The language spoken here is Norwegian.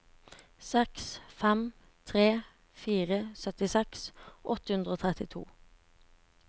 seks fem tre fire syttiseks åtte hundre og trettito